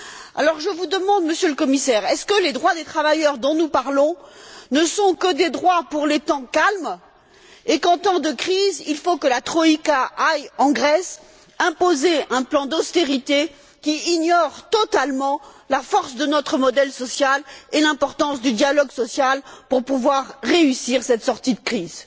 Alors je vous demande, Monsieur le Commissaire, les droits des travailleurs dont nous parlons ne sont ils que des droits pour les temps calmes et faut il, qu'en temps de crise, la troïka aille en Grèce imposer un plan d'austérité qui ignore totalement la force de notre modèle social et l'importance du dialogue social pour pouvoir réussir cette sortie de crise.